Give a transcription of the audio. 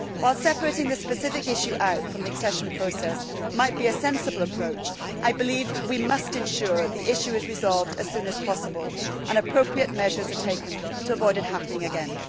While separating this specific issue out from the accession process might be a sensible approach, I believe we must ensure the issue is resolved as soon as possible and appropriate measures are taken to avoid it happening again.